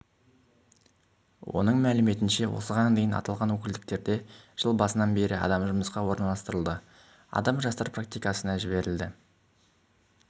оның мәліметінше осыған дейін аталған өкілдіктерде жыл басынан бері адам жұмысқа орналастырылды адам жастар практикасына жіберілді